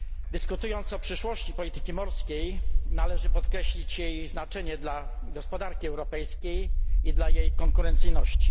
Dyskutując o przyszłości polityki morskiej, należy podkreślić jej znaczenie dla gospodarki europejskiej i dla jej konkurencyjności.